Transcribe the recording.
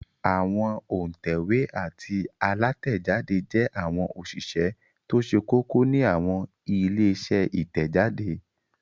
Àwọn òǹtẹ̀wé àti alátẹ̀jáde jẹ́ àwọn òṣìṣẹ́ tó ṣe kókó ní àwọn ilé-iṣẹ́ Ìtẹ̀jáde.